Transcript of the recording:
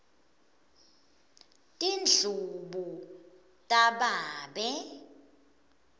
tindlubu tababe